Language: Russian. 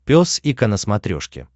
пес и ко на смотрешке